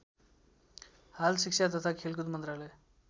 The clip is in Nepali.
हाल शिक्षा ताथा खेलकुद मन्त्रालय